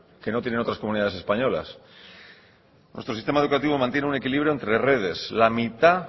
que no tienen otras comunidades españolas nuestro sistema educativo mantiene un equilibrio entre redes la mitad